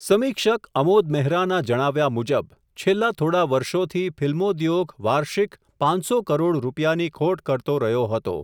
સમીક્ષક અમોદ મેહરાના જણાવ્યા મુજબ, છેલ્લા થોડા વર્ષોથી ફિલ્મોદ્યોગ વાર્ષિક, પાંચસો કરોડ રૂપિયાની ખોટ કરતો રહ્યો હતો.